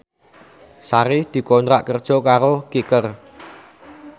Sari dikontrak kerja karo Kicker